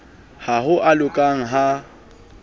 ha ho a loka ha